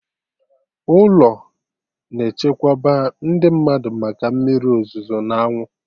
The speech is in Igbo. Ụlọ na-echekwaba ndị mmadụ maka mmiri ozuzo n'anwụ